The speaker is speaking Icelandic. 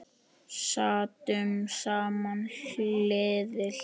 Sátum saman hlið við hlið.